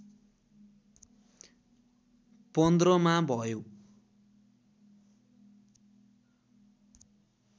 १५ मा भयो